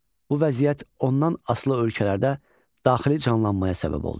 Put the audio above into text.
Bu vəziyyət ondan asılı ölkələrdə daxili canlanmaya səbəb oldu.